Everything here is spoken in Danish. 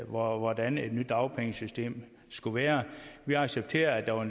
hvordan et nyt dagpengesystem skulle være vi accepterede at der var